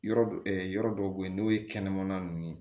Yɔrɔ dɔ yɔrɔ dɔw bɛ yen n'o ye kɛnɛmana ninnu ye